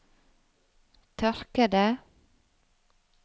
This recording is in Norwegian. tørkede